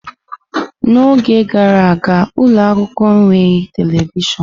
N'oge gara aga, ụlọ akwụkwọ enweghị telivishọn.